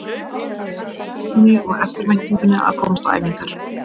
Ég man eftir biðinni og eftirvæntingunni að komast á æfingar.